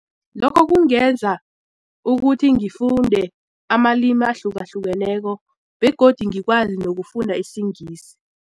Lokho kungenza ukuthi ngifunde amalimi ahlukahlukeneko begodu ngikwazi nokufunda isingisi.